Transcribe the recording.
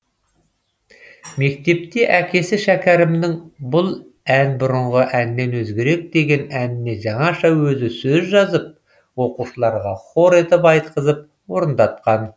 мектепте әкесі шәкәрімнің бұл ән бұрынғы әннен өзгерек деген әніне жаңаша өзі сөз жазып оқушыларға хор етіп айтқызып орындатқан